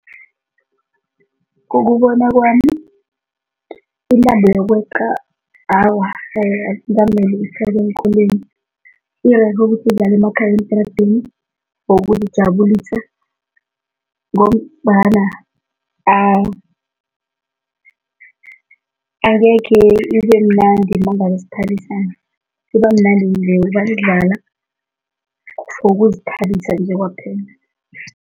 Ngokubona kwami, intambo yokweqa, awa, ukuhlala eenkolweni, irerhe ukuthi idlalwe emakhaya eentradeni ngokuzijabulisa ngombana angekhe ibemnandi nangabe siphalisana, ibamnandi nasidlala for ukuzithabisa nje kwaphela.